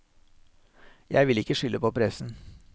Jeg vil ikke skylde på pressen.